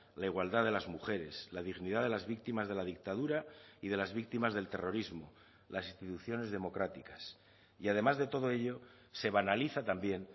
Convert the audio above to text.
la igualdad de las mujeres la dignidad de las víctimas de la dictadura y de las víctimas del terrorismo las instituciones democráticas y además de todo ello se banaliza también